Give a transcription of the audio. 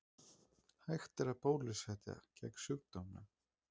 Hægt er að bólusetja gegn sjúkdómnum.